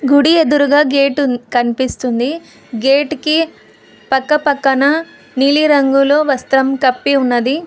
గుడి ఎదురుగా గేట్ కనిపిస్తుంది గేట్ కి పక్కపక్కన నీలి రంగులో వస్త్రం కప్పి ఉన్నది.